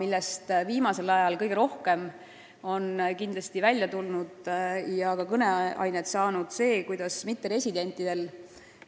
Viimasel ajal on kindlasti kõige rohkem kõneainet andnud see, et mitteresidentidel,